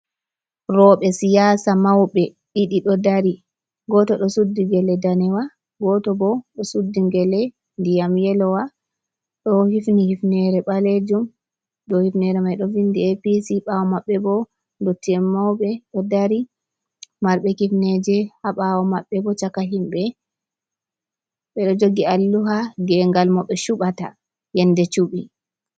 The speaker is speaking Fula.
Roɓe siyasa mauɓe ɗiɗi ɗo dari, goto ɗo suddi gele danewa, goto bo ɗo suddi gele ndiyam yelowa do hifni hifnere ɓalejum. dow hifnere mai ɗo vindi e, pi, ci ɓawo maɓɓe bo ɗo ndotti en mauɓe ɗo dari marɓe hifneje ha ɓawo maɓɓe bo caka himɓe, ɓeɗo jogi alluha gengal mo ɓe cuɓata yende cuɓi.